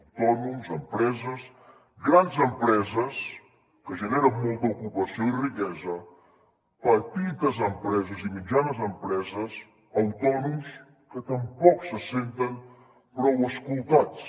autònoms empreses grans empreses que generen molta ocupació i riquesa petites empreses i mitjanes empreses autònoms que tampoc se senten prou escoltats